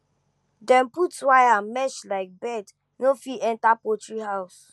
dem put wire mesh make birds no fit enter poultry house